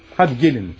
Hadi gəlin lütfən.